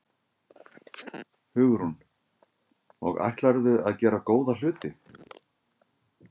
Hugrún: Og ætlarðu að gera góða hluti?